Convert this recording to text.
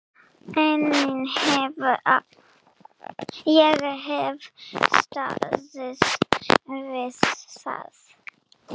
Ég hef staðið við það.